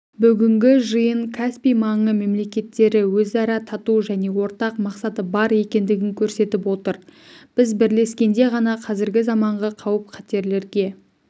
бүгінгі жиын каспий маңы мемлекеттеріөзара тату жәнеортақ мақсаты бар екендігінкөрсетіп отыр біз бірлескенде ғана қазіргі заманғы қауіп-қатерлерге